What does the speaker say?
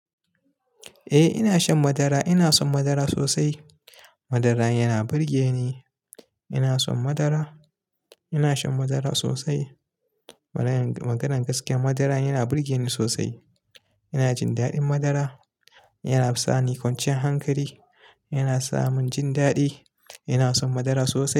Eh ina shan madara, ina son madara sosai. Madara yana burge ni. Ina son madara, ina shan madara sosai. Maganan gaskiya madara yana burge ni sosai. Ina jin daɗin madara, yana sa ni kwancin hankali, yana sa mun jin daɗi. Ina son madara sosai.